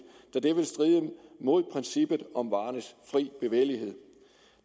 da det vil stride mod princippet om varernes frie bevægelighed